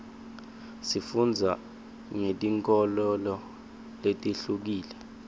sifundza ngetinkholelo letihlukile